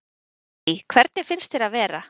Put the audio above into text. Lillý: Hvernig finnst þér að vera?